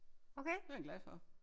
Den er jeg glad for